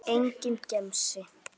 SOPHUS: Það er nú það.